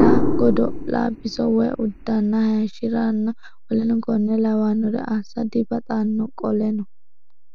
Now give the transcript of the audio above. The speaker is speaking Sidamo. la godo la biso woy uddanna hayishshi ranna w k l assa dibaxanno Qoleno.